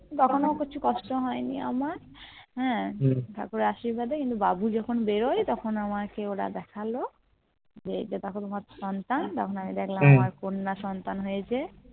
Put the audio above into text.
তখন আর কিছু কষ্ট হয়নি আমার হ্যাঁ ঠাকুরের আশীর্বাদ এ কিন্তু বাবু যখুন বেরোয় তখন আমাকে ওরা দেখালো যে তোমার কন্যা সন্তা হয়েছে